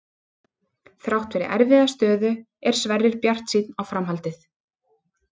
Þrátt fyrir erfiða stöðu er Sverrir bjartsýnn á framhaldið.